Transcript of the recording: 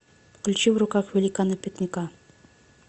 включи в руках великана пикника